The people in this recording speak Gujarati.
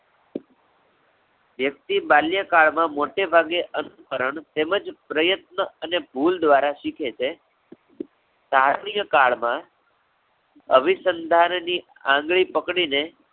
વ્યક્તિ બાલ્યકાળ માં મોટેભાગે, અનુકરણ તેમજ પ્રયત્ન અને ભૂલ દ્વારા શીખે છે. કાલિય કાળમાં અવિસંધાન ની આંગળી પકડી ને